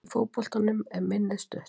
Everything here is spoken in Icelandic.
Í fótboltanum er minnið stutt.